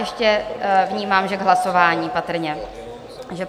Ještě vnímám, že k hlasování patrně?